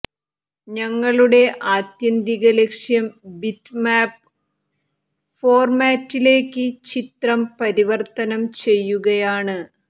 ഞങ്ങളുടെ ആത്യന്തിക ലക്ഷ്യം ബിറ്റ്മാപ്പ് ഫോർമാറ്റിലേക്ക് ചിത്രം പരിവർത്തനം ചെയ്യുകയാണ്